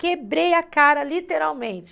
Quebrei a cara, literalmente.